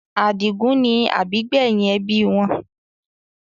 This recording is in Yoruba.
Adigun ni àbígbẹ́yìn ẹbí wọn.